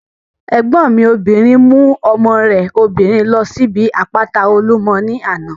Ẹ̀gbọ́n mi obìnrin mú ọmọ rẹ̀ obìnrin ló síbi àpáta Olúmọ ní àná